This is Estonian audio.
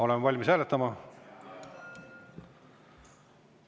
Oleme valmis hääletama?